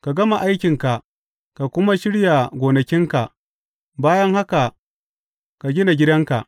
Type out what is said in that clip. Ka gama aikinka ka kuma shirya gonakinka; bayan haka, ka gina gidanka.